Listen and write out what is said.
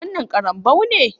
Wannan karambou ne?